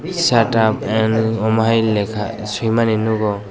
shut up and amo hai leka simani nogo.